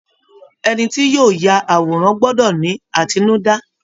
Ẹni tí yóò ya àwòrán gbọ́dọ̀ ni àtinúdá